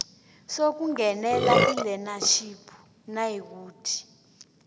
sokungenela ilearnership nayikuthi